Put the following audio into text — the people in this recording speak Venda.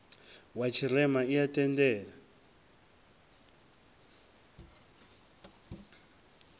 wa tshirema i a tendela